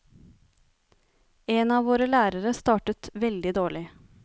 En av våre lærere startet veldig dårlig.